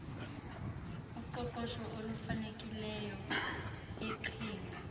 uqoqosho olufanelekileyo iqhinga